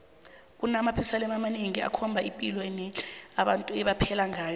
kunama museum amanengi akhomba ipilo nendle abantu ebebaphela ngayo